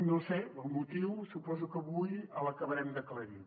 no sé el motiu suposo que avui l’acabarem d’aclarir